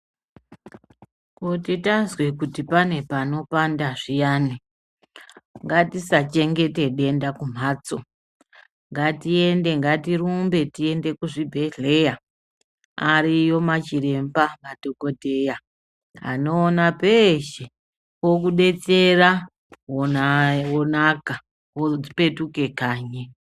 Kuti tazwe kuti pane panopanda zviyani ngatisachengete denda kumhatso ngatiende ngatirumbe tiende kuzvibhedhlera ariyo machiremba madhokodheya anoona peshe vokudetsera wonaka wopetuke kanyi.